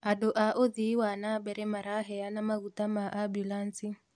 Andũ a ũthīī wa nambere nĩmaraheana maguta ma ambulanĩcĩ